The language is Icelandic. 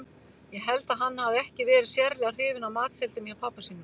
Ég held að hann hafi ekki verið sérlega hrifinn af matseldinni hjá pabba sínum.